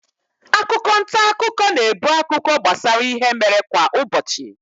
Akwụkwọ ntaakụkọ na-ebu akụkọ gbasara ihe mere kwa ụbọchị.